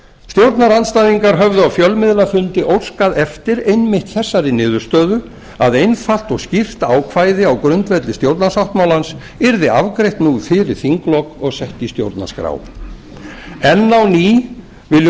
stjórnarandstæðingar höfðu á fjölmiðlafundi óskað eftir einmitt þeirri niðurstöðu að einfalt og skýrt ákvæði á grundvelli stjórnarsáttmálans yrði afgreitt nú fyrir þinglok og sett í stjórnarskrá enn á ný viljum